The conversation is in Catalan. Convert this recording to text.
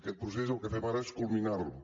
aquest procés el que fem ara és culminar lo